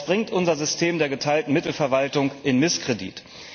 Das bringt unser System der geteilten Mittelverwaltung in Misskredit.